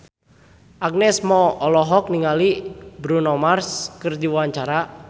Agnes Mo olohok ningali Bruno Mars keur diwawancara